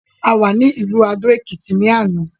A wà ní ìlú adó-èkìtì ní àná.